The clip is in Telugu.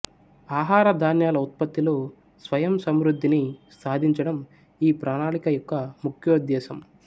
ఆహార ధాన్యాల ఉత్పత్తిలో స్వయం సంవృద్ధిని సాధించడం ఈ ప్రణాళిక యొక్క ముఖ్యోద్దేశం